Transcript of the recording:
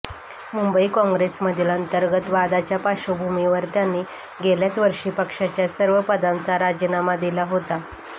मुंबई काँग्रेसमधील अंतर्गत वादाच्या पार्श्वभूमीवर त्यांनी गेल्याच वर्षी पक्षाच्या सर्व पदांचा राजीनामा दिला होता